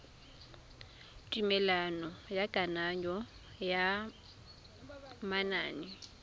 tumelelo ya kananyo ya manane